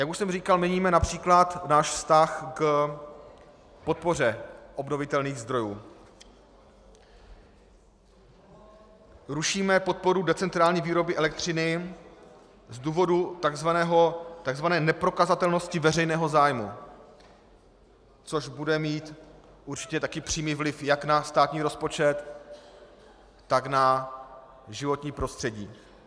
Jak už jsem říkal, měníme například náš vztah k podpoře obnovitelných zdrojů, rušíme podporu decentrální výroby elektřiny z důvodu tzv. neprokazatelnosti veřejného zájmu, což bude mít určitě také přímý vliv jak na státní rozpočet, tak na životní prostředí.